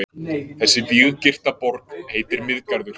Þessi víggirta borg heitir Miðgarður.